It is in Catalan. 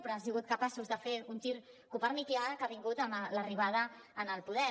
però han sigut capaços de fer un gir copernicà que ha vingut amb l’arribada al poder